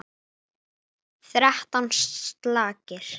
Er einhver leið til baka?